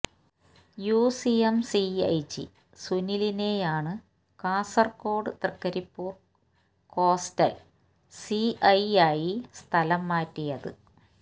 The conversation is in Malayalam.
യൂസിയം സിഐ ജി സുനിലിനെയാണ് കാസര്കോട് തൃക്കരിപ്പൂര് കോസ്റ്റല് സിഐയായി സ്ഥലം മാറ്റിയത്